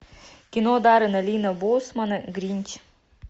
кино даррена линна боусмана гринч